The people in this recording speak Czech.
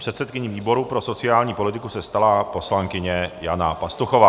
Předsedkyní výboru pro sociální politiku se stala poslankyně Jana Pastuchová.